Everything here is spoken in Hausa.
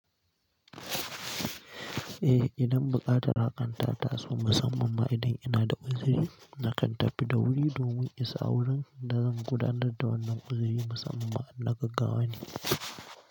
Eh, idan buƙatar hakan ta taso musamman ma idan ina da uzuri, nakan tafi da wuri domin isa wurin da zan gudanar da wannan uzuri musamman ma in na gaggawa ne.